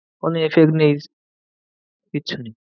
কোনো কিচ্ছু নেই।